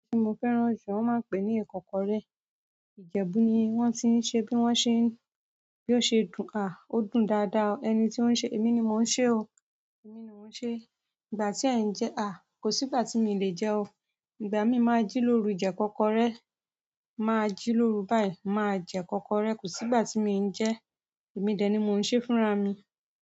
Tí mo fẹ́ràn jù, wọ́n máa ń pè ní ìkọ́kọrẹ́ Ìjẹ̀bú ni wọ́n ti ń ṣe bí wọ́n ṣe, bí ó ṣe dùn, à, ó dùn dáadáa o. Ẹni tí o ń ṣe? Èmi ni mo ń ṣe o. Èmi ni mo ń ṣe ìgbà tí ẹ ń jẹ́? A! Kò sí ìgbà tí mi ò lè jẹ́ o. Ìgbà mí máa ń jí lóru jẹ ìkọ́kọrẹ́, máa jí lóru báyìí, máa jẹ ìkọ́kọrẹ́, kò sí ìgbà tí mí ń jẹ. Èmi dẹ̀ ni mo ń ṣe fúnra mi.